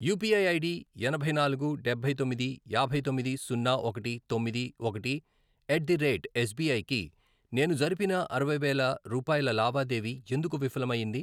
UPI ID ఎనభై నాలుగు, డబ్బై తొమ్మిది, యాభై తొమ్మిది, సున్నా, ఒకటి, తొమ్మిది, ఒకటి, ఎట్ ది రేట్ ఎస్బిఐ కి నేను జరిపిన అరవై వేలు రూపాయల లావాదేవీ ఎందుకు విఫలం అయ్యింది?